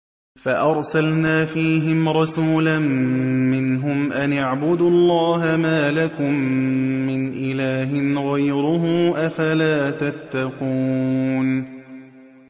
فَأَرْسَلْنَا فِيهِمْ رَسُولًا مِّنْهُمْ أَنِ اعْبُدُوا اللَّهَ مَا لَكُم مِّنْ إِلَٰهٍ غَيْرُهُ ۖ أَفَلَا تَتَّقُونَ